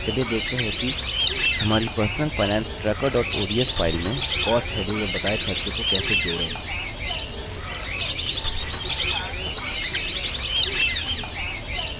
चलिए देखते हैं कि कैसे हमारी personal finance tracker ods file में cost heading में बताए खर्चों को कैसे जोड़ें